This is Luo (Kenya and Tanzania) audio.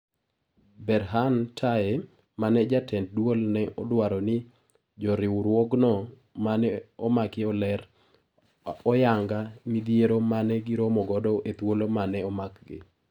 Berhan Taye ,mane jatend Duol ne odwaro ni joriwruogno mane omaki oler oyanga midhiero mane giromo godo ethuolo mane omakgi.